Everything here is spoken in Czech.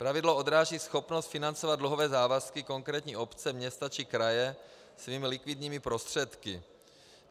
Pravidlo odráží schopnost financovat dluhové závazky konkrétní obce, města či kraje svými likvidními prostředky.